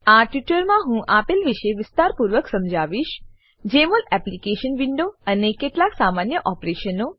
આ ટ્યુટોરીયલમાં હું આપેલ વિશે વિસ્તારપૂર્વક સમજાવીશ જમોલ એપ્લીકેશન વિન્ડો અને કેટલાક સામાન્ય ઓપરેશનો